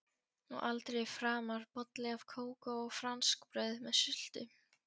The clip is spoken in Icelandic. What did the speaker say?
Og aldrei framar bolli af kókó og franskbrauð með sultu.